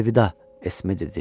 Əlvida, Esmi dedi.